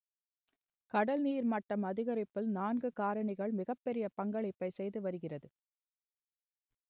கடல் நீர்மட்டம் அதிகரிப்பில் நான்கு காரணிகள் மிகப்பெரிய பங்களிப்பை செய்து வருகிறது